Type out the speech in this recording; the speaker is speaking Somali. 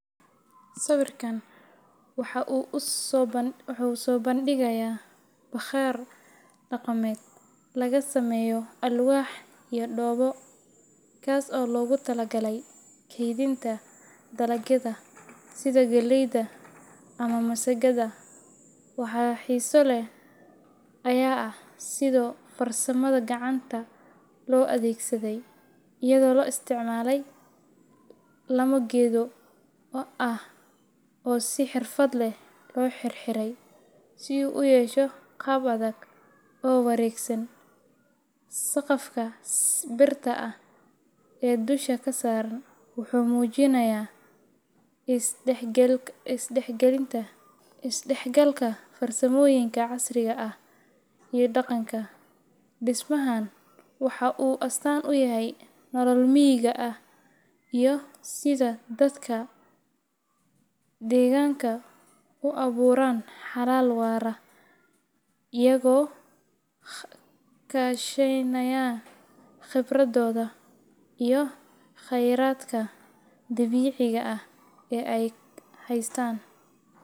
Sawirkan waxa uu soo bandhigayaa bakhaar dhaqameed laga sameeyay alwaax iyo dhoobo, kaas oo loogu talagalay kaydinta dalagyada sida galleyda ama masagada. Waxa xiiso leh ayaa ah sida farsamada gacanta loo adeegsaday, iyadoo la isticmaalay laamo geedo ah oo si xirfad leh loo xirxiray si uu u yeesho qaab adag oo wareegsan. Saqafka birta ah ee dusha ka saaran wuxuu muujinayaa is dhexgalka farsamooyinka casriga ah iyo dhaqanka. Dhismahan waxa uu astaan u yahay nolol miyiga ah iyo sida dadka deegaanka u abuuraan xalal waara iyagoo kaashanaya khibradooda iyo kheyraadka dabiiciga ah ee ay haystaan.